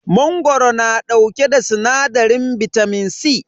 Mangoro na dauke da sinadarin bitamin C.